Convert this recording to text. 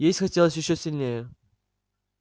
есть хотелось ещё сильнее